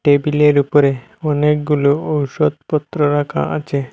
টেবিলের উপরে অনেকগুলো ঔষধপত্র রাখা আছে।